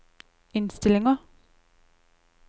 innstillinger